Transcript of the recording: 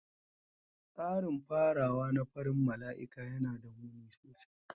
Tsarin farawa na farin mala'ika yana da muni sosai.